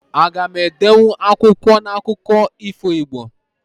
Aga m edenwu akwụkwọ na akụkọ ifo Igbo?